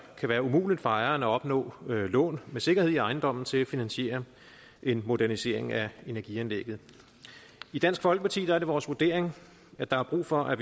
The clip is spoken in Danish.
eller umuligt for ejeren at opnå lån med sikkerhed i ejendommen til at finansiere en modernisering af energianlægget i dansk folkeparti er det vores vurdering at der er brug for at